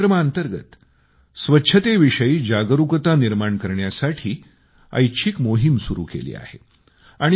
या कार्यक्रमाअंतर्गत स्वच्छतेविषयी जागरूकता निर्माण करण्यासाठी ऐच्छिक मोहीम सुरू केली आहे